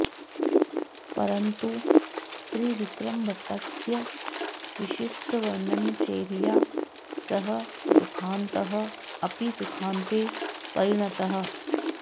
परन्तु त्रिविक्रमभट्टस्य विशिष्टवर्णनशैल्या सः दुःखान्तः अपि सुखान्ते परिणतः